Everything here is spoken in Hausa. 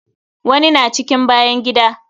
Wani na cikin bayan gida.